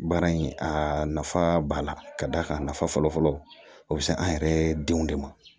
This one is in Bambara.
Baara in a nafa b'a la ka d'a kan nafa fɔlɔfɔlɔ o bɛ se an yɛrɛ denw de ma